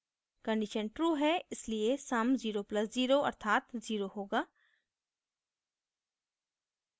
condition true है इसलिए sum 0 + 0 अर्थात 0 होगा